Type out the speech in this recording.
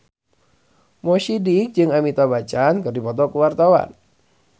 Mo Sidik jeung Amitabh Bachchan keur dipoto ku wartawan